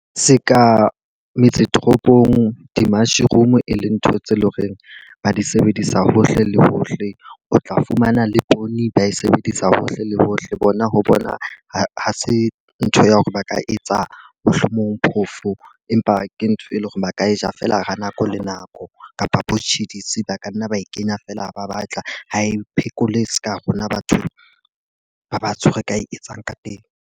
Se ka metse toropong, di-mushroom e le ntho tse leng horeng ba di sebedisa hohle le hohle. O tla fumana le poone ba e sebedisa hohle le hohle bona ho bona ha se ntho ya hore ba ka etsa mohlomong phofo. Empa ke ntho e leng hore ba ka e ja fela ha nako le nako kapa bo tjhidisi, ba ka nna ba e kenya feela ha ba batla ho e phekole seka rona batho ba batsho re ka e etsang ka teng.